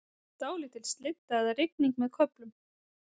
Dálítil slydda eða rigning með köflum